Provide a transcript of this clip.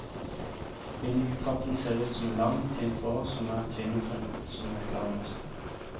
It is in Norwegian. Vindeltrappen ser ut som en lang, tynn tråd som er tvinnet rundt som et garnnøste.